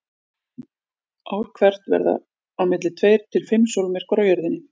Ár hvert verða á milli tveir til fimm sólmyrkvar á Jörðinni.